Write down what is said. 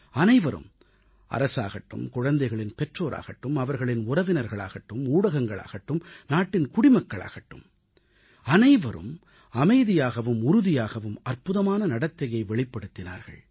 அனைவரும் அரசாகட்டும் குழந்தைகளின் பெற்றோராகட்டும் அவர்களின் உறவினர்களாகட்டும் ஊடகங்கள் ஆகட்டும் நாட்டின் குடிமக்களாகட்டும் அனைவரும் அமைதியாகவும் உறுதியாகவும் அற்புதமான நடத்தையை வெளிப்படுத்தினார்கள்